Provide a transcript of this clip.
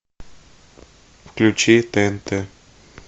включи тнт